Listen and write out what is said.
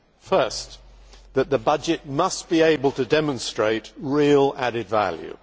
First, the budget must be able to demonstrate real added value.